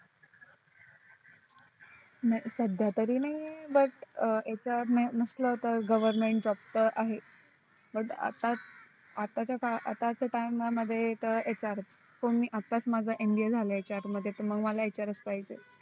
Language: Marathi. नाही सध्या तरी नाही butHR नसल तर Government job तर आहे पण आत्ता आत्ताच्या आत्ताच्या time मध्ये तर HR च काळात आत्ताच माझा MBA झालय त्याच्या मुळे मला HR च पाहिजे